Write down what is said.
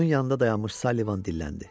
Onun yanında dayanmış Sallivan dilləndi.